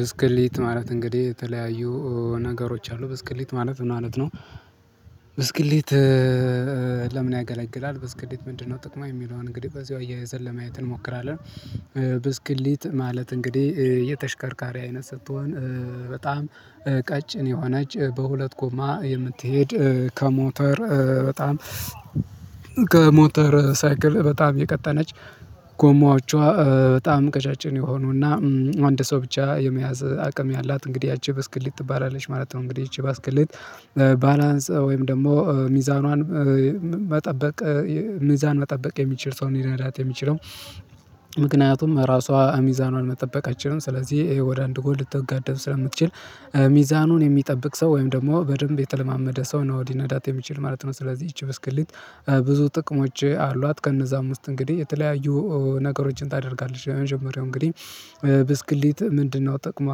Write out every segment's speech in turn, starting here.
ብስክሌት ማለት እንግዲህ የተለያዩ ነገሮች አሉ ብስክሌት ማለት ምን ማለት ነው? ብስክሌት ለምን ያገለግላል ብስክሌት ምንድነው ጥቅሙ የሚለውን እንግዲህ በዛው አያይዘን ለማየት እንሞክራለን። ብስክሊት ማለት እንግዲህ የተሽከርካሪ አይነት ስትሆን በጣም ቀጭን የሆነች በሁለት ጎማ የምትሄድ ከሞተር በጣም ከሞተር ሳይክል በጣም የቀጠነች ጎማዎቿ በጣም ቀጫጭን የሆኑና አንድ ሰው ብቻ የመያዝ አቅም ያላት እንግዲህ ያቺ በስክሊት ትባላለች ማለት ነው። እንግዲህ ይቺ ብስክሊት ባላንስ ወይም ደግሞ ሚዛኗን መጠበቅ ሚዛን መጠበቅ የሚችል ሰው እንዲረዳት የሚችለው ምክንያቱም ራሷ ሚዛኗን መጠበቅ አትችልም ስለዚህ ይሄ ወደ አንድ ጎል ልታጋድል ስለምትችል ሚዛኑን የሚጠብቅ ሰው ወይም ደግሞ በደንብ የተለማመደ ሰው ነው ሊነዳት የሚችል ማለት ነው። ስለዚህ ይቺ ብስክልት ብዙ ጥቅሞች አሏት ከነዛ ውስጥ እንግዲህ የተለያዩ ነገሮችን ታደርጋለች። የመጀመሪያው እንግዲህ ብስክሌት ምንድነው ጥቅሟ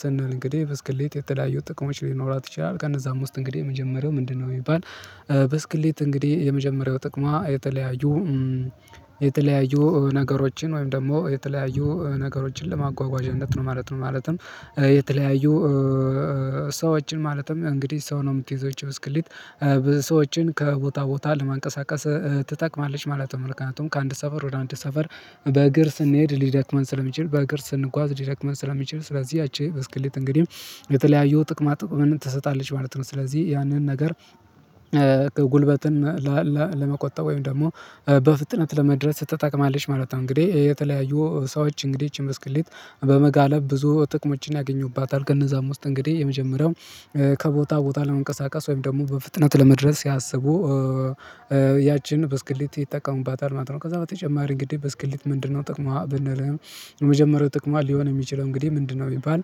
ስንል እንግዲህ ብስክሌት የተለያየው ጥቅሞች ሊኖራት ይችላል ከነዛም ውስጥ እንግዲህ የመጀመሪያው ምንድነው ቢባል? በስክሌት እንግዲህ የመጀመሪያው ጥቅሟ የተለያዩ የተለያዩ ነገሮችን ወይም ደግሞ የተለያዩ ነገሮችን ለማጓጓዣነት ነው ማለት ነው። ማለትም የተለያዩ ሰዎችን ማለትም እንግዲህ ሰው ነው የምትይዘው ይቺ ብስክሊት ብዙ ሰዎችን ከቦታ ቦታ ለማንቀሳቀስ ትጠቅማለች ማለት ነው። ምክንያቱም ከአንድ ሰፈር ወደ አንድ ሰፈር በእግር ስንሄድ ሊደክመን ስለሚችል በእግር ስንጓዝ ሊደክመን ስለሚችል ስለዚህ ያቺ በስክሌት እንግዲህ የተለያዩ ጥቅማ ጥቅም ትሰጣለች ማለት ነው። ስለዚህ ያንን ነገር ለመቆጠብ ወይም ደግሞ በፍጥነት ለመድረስ ትጠቅማለች ማለት ነው። እንግዲህ የተለያዩ ሰዎች እንግዲህ ይቺን ብስክሌት በመጋለብ ብዙ ጥቅሞችን ያገኙባታል ከእነዛም ውስጥ እንግዲህ የመጀመሪያው ከቦታ ቦታ ለመንቀሳቀስ ወይም ደግሞ በፍጥነት ለመድረስ ያሰቡ በስክሊት ይጠቀሙባታል ማለት ነው። ከዛ በተጨማሪ እንግዲህ በስክሊት ምንድነው ጥቅሟ ብንል? የመጀመሪያው ጥቅሟ ሊሆን የሚችለው እንግዲህ ምንድነው ቢባል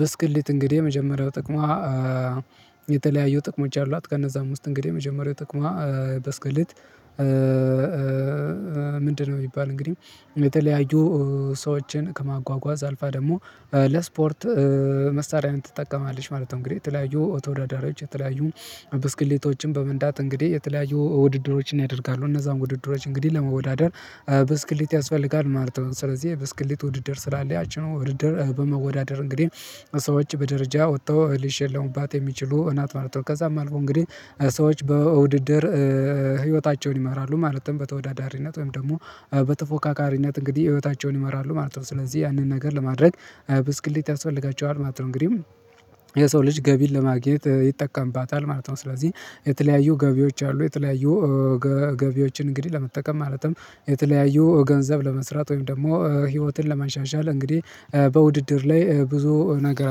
በስክሌት እንግዲህ የመጀመሪያው ጥቅሟ የተለያዩ ጥቅሞች አሏት። ከነዛም ውስጥ እንግዲህ የመጀመሪያው ጥቅሟ ብስክሊት ምንድነው ቢባል እንግዲህ የተለያዩ ሰዎችን ከማጓጓዝ አልፋ ደግሞ ለስፖርት መሳሪያነት ትጠቀማለች ማለት ነው። እንግዲህ የተለያዩ ተወዳዳሪዎች የተለያዩ ብስክሌቶችን በመንዳት እንግዲህ የተለያዩ ውድድሮችን ያደርጋሉ እነዛን ውድድሮች እንግዲህ ለመወዳደር ብስክሌት ያስፈልጋል ማለት ነው። ስለዚህ ብስክሌት ውድድር ስላለ ያቺኖ ውድድር በመወዳደር እንግዲህ ሰዎች በደረጃ ወጥተው ሊሸለሙባት የሚችሉ ናት ማለት ነው። ከዛም አልፎ እንግዲህ ሰዎች በውድድር ህይወታቸውን ይመራሉ ማለትም በተወዳዳሪነትም ደግሞ በተፎካካሪነት እንግዲህ ህይወታቸውን ይመራሉ ማለት ነው። ስለዚህ ያንን ነገር ለማድረግ ብስክሌት ያስፈልጋቸዋል ማለት ነው። እንግዲህ የሰው ልጅ ገቢን ለማግኘት ይጠቀምባታል ማለት ነው። ስለዚህ የተለያዩ ገቢዎች አሉ የተለያዩ ገቢዎችን እንግዲህ ለመጠቀም ማለትም የተለያዩ ገንዘብ ለመስራት ወይም ደግሞ ህይወትን ለማሻሻል እንግዲህ በውድድር ላይ ብዙ ነገር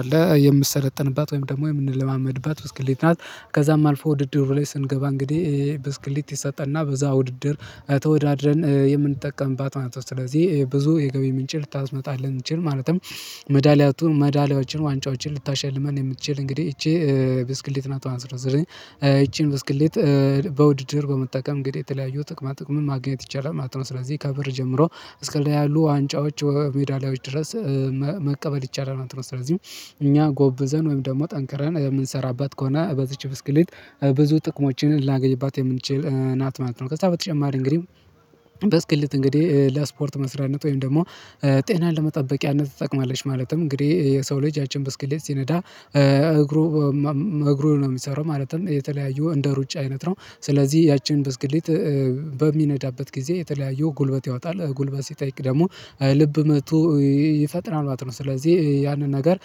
አለ። የምሰለጥንባት ወይም ደግሞ የምንለማመድባት ብስክሌት ናት። ከዛም አልፎ ውድድር ላይ ስንገባ እንግዲህ ብስክልት ይሰጠና በዛ ውድድር ተወዳድረን የምንጠቀምባት ማለት ነው። ስለዚህ ብዙ የገቢ ምንጭ ልታስመጣ ልንችል ማለትም መዳሊያቱን መዳሊያችን ዋንጫዎችን ልታሸልመን የምትችል እንግዲህ ይቺ ብስክሌት ናት ማለት ነው። ስለዚ ይቺን ብስክሌት በውድድር በመጠቀም እንግዲህ የተለያዩ ጥቅማ ጥቅም ማግኘት ይቻላል ማለት ነው። ስለዚህ ከብር ጀምሮ እስከሌላ ያሉ ዋንጫዎች ሜዳሊያዎች ድረስ መቀበል ይቻላል ማለት ነው። ስለዚህ እኛ ጎበዘን ወይም ደግሞ ጠንክረን የምንሰራባት ከሆነ በዚች ብስክሌት ብዙ ጥቅሞችን ላገይባት የምንችል ናት ማለት ነው። ከዛ በተጨማሪ እንግዲህ በስክሊት እንግዲህ ለስፖርት መስሪያነት ወይም ደግሞ ጤናን ለመጠበቂያነት ትጠቅማለች። ማለትም እንግዲህ የሰው ልጅ ያችን በስክሌት ሲነዳ እግሩ እግሩ ነው የሚሰራው ማለትም የተለያዩ እንደ ሩጫ አይነት ነው። ስለዚህ ያቺን ብስክሌት በሚነዳበት ጊዜ የተለያየው ጉልበት ያወጣል ጉልበት ሲጠይቅ ደግሞ ልብ መትቶ ይፈጥናል ማለት ነው። ስለዚህ ያንን ነገር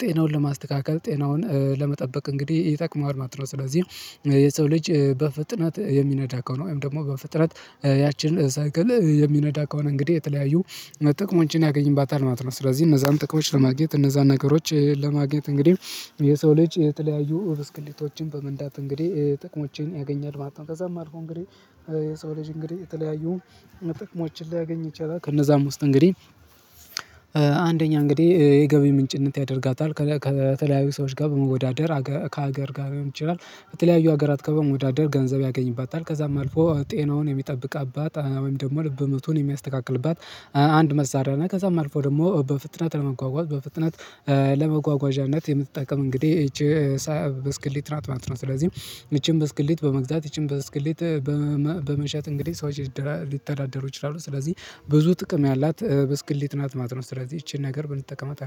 ጤናውን ለማስተካከል ጤናውን ለመጠበቅ እንግዲህ ይጠቅመዋል ማለት ነው። ስለዚህ የሰው ልጅ በፍጥነት የሚነዳ ከሆነ ወይም ደግሞ በፍጥነት ያችን ሳይክል የሚነዳ ከሆነ እንግዲህ የተለያዩ መጠቅሞን ያገኝባታል ማለት ነው። ስለዚህ እነዛን ጥቅሞች ለማግኘት እነዛን ነገሮች ለማግኘት እንግዲህ የሰው ልጅ የተለያዩ ብስክልቶችን በመንዳት እንግዲህ ጥቅሞቼን ያገኛል ማለት ነው። ከዛም አልፎ እንግዲህ የሰው ልጅ እንግዲህ የተለያዩ መጠቅሞችን ሊያገኝ ይቻላል። ከነዛም ውስጥ እንግዲህ አንደኛ እንግዲህ የገቢ ምንጭነት ያደርጋታል ከተለያዩ ሰዎች ጋር በመወዳደር ከሀገር ጋር ሊሆን ይችላል። በተለያዩ ሀገራት ከሀገር በመወዳደር ገንዘብ ያገኝባታል ከዛም አልፎ ጤናውን የሚጠብቅባት ወይም ደግሞ ልብ ምቱን የሚያስተካክልባት አንድ መሳሪያ ነው። ከዛም አልፎ ደግሞ በፍጥነት ለመጓጓዝ በፍጥነት ለመጓጓዣነት የምትጠቀም እንግዲህ ይቺ ሳይ በስክሌት ማለት ነው። ስለዚህ ይቺን በስክሌት በመግዛት ይቺን በስክሌት በመሸጥ እንግዲህ ሰዎች ሊተዳደሩ ይችላሉ። ስለዚህ ብዙ ጥቅም ያላት ብስክሌት ናት ማለት ነው። ስለዚህ ይቺን ነገር ብንጠቀመጥ አድርጌ